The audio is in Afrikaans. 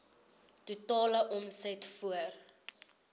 totale omset voor